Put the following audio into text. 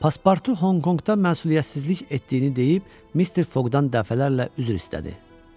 Paspartu Honkonqda məsuliyyətsizlik etdiyini deyib, Mister Foqdan dəfələrlə üzr istədi.